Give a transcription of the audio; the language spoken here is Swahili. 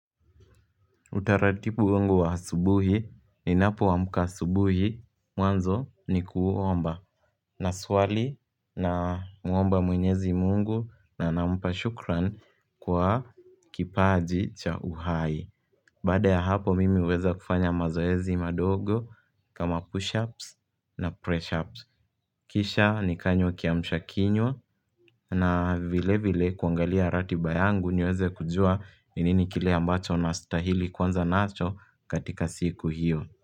Utaratibu wangu wa asubuhi ninapoamka asubuhi mwanzo ni kuomba naswali namuomba mwenyezi mungu na nampa shukran kwa kipaji cha uhai Baada ya hapo mimi huweza kufanya mazoezi madogo kama push-ups na press-ups Kisha nikanywa kiamshakinywa na vile vile kuangalia ratiba yangu niweze kujua ni nini kile ambacho nastahili kuanza nacho katika siku hiyo.